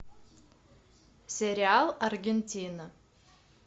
сериал аргентина